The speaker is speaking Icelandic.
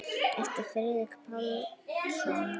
eftir Friðrik Pál Jónsson